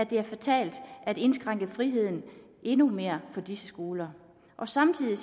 være fatalt at indskrænke friheden endnu mere for disse skoler samtidig